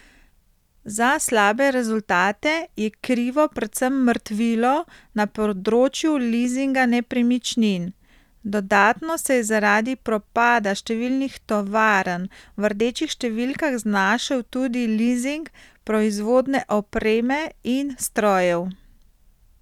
Za slabe rezultate je krivo predvsem mrtvilo na področju lizinga nepremičnin, dodatno se je zaradi propada številnih tovarn v rdečih številkah znašel tudi lizing proizvodne opreme in strojev.